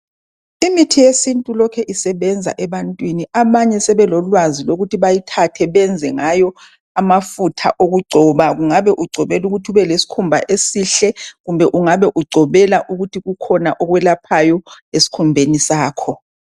Imithi yesintu ilokhu isebenza ebantwini abanye sebelolwazi lokuthi bayithatha bayenze ngayo abafutha okungcoba ungabe ungcobela ukuthi ube lesikhumba esihle kumbe ungaba ungcobela ukuthi kukhona okwelaphayo esikhumbeni sakho.